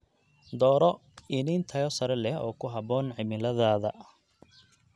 Dooro iniin tayo sare leh oo ku habboon cimiladaada.